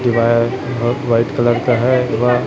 ये वायर बहुत white colour का है।